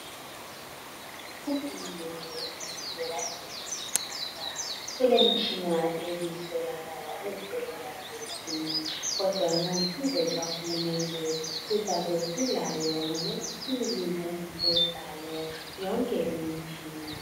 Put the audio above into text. uhulumende uyaqhubeka esipha kulemitshina ebiswelakala ezibhedlela zeth kodwa ngosizo lukahulumende sizabe silayo ngolwesibili ngeviki ezayo ynke leyi imitshina